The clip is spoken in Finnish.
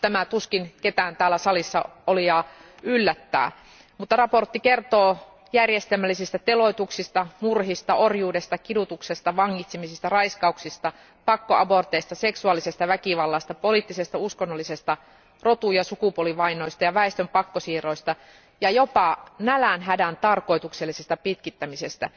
Tämä tuskin ketään täällä salissa olijaa yllättää. Raportti kertoo järjestelmällisistä teloituksista, murhista, orjuudesta, kidutuksesta, vangitsemisista, raiskauksista, pakkoaborteista, seksuaalisesta väkivallasta, poliittisesta ja uskonnollisesta rotu ja sukupuolivainoista ja väestön pakkosiirroista ja jopa nälänhädän tarkoituksellisesta pitkittämisestä.